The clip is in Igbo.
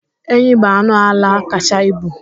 Enyi bụ anụ ala kacha ibu.